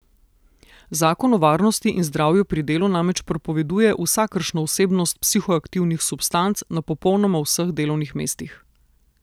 Zakon o varnosti in zdravju pri delu namreč prepoveduje vsakršno vsebnost psihoaktivnih substanc na popolnoma vseh delovnih mestih.